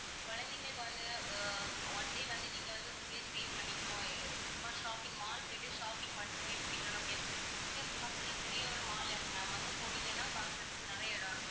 குழந்தைகளுக்கு வந்து அஹ் one day வந்து நீங்க வந்து room லயே stay பண்ணிக்கணும், சும்மா shopping mall போயிட்டு shopping மட்டும் போய் முடிக்கணும் ஏன்னா இங்க பக்கத்தில பெரிய ஒரு mall இருக்கு ma'am அங்க போனீங்கன்னா பார்க்கிறதுக்கு நிறைய இடம் இருக்கு.